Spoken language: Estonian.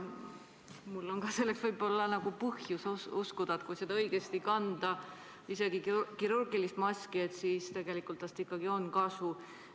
Mul on võib-olla ka põhjust uskuda, et kui seda õigesti kanda – isegi kirurgilist maski –, siis tegelikult on sellest ikkagi kasu.